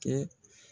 Kɛ